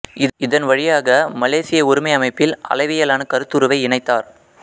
இதன் வழியாக மிலேசிய ஒருமை அமைப்பில் அளவியலான கருத்துருவை இணைத்தார்